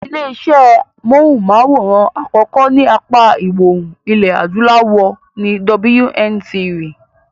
Ilé iṣé móhùn-máwòrán àkọ́kọ́ ní apá ìwọòrùn ilẹ̀ adúláwọ̀ ni WNTV.